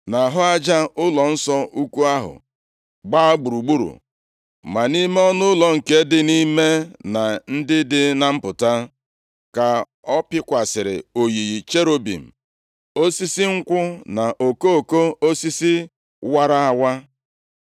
Nʼahụ aja ụlọnsọ ukwu ahụ gbaa gburugburu, ma nʼime ọnụụlọ nke dị nʼime na ndị dị na mpụta, ka ọ pịkwasịrị oyiyi cherubim, osisi nkwụ na okoko osisi wara awa.